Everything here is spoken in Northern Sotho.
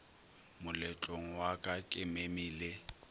moletlong wa ka ke memile